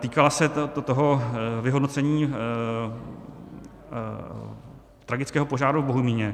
Týkala se toho vyhodnocení tragického požáru v Bohumíně.